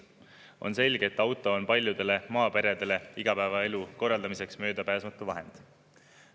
On selge, et auto on paljudele maaperedele igapäevaelu korraldamiseks möödapääsmatu vahend.